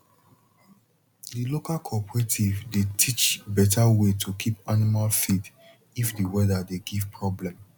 the local cooperative dey teach better way to keep animal feed if the weather dey give problem